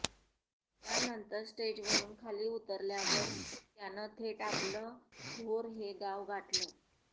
त्यानंतर स्टेजवरुन खाली उतरल्यावर त्यानं थेट आपलं भोर हे गाव गाठलं